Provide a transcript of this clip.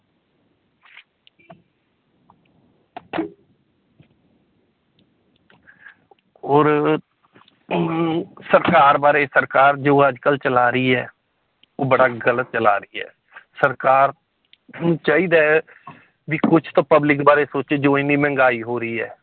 ਹੋਰ ਅਮ ਸਰਕਾਰ ਬਾਰੇ ਸਰਕਾਰ ਜੋ ਅੱਜ ਕੱਲ੍ਹ ਚਲਾ ਰਹੀ ਹੈ, ਉਹ ਬੜਾ ਗ਼ਲਤ ਚਲਾ ਰਹੀ ਹੈ ਸਰਕਾਰ ਨੂੰ ਚਾਹੀਦਾ ਹੈ ਵੀ ਕੁਛ ਤਾਂ public ਬਾਰੇ ਸੋਚੇ ਜੋ ਇੰਨੀ ਮਹਿੰਗਾਈ ਹੋ ਰਹੀ ਹੈ